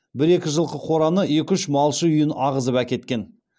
бір екі жылқы қораны екі үш малшы үйін ағызып әкеткен